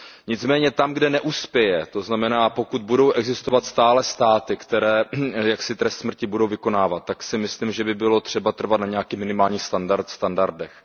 Nicméně tam, kde neuspěje, to znamená, pokud budou existovat stále státy, které trest smrti budou vykonávat, tak si myslím, že by bylo třeba trvat na nějakých minimálních standardech.